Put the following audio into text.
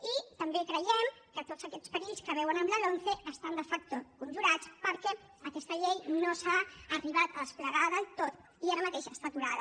i també creiem que tots aquests perills que veuen en la lomce estan de facto conjurats perquè aquesta llei no s’ha arribat a desplegar del tot i ara mateix està aturada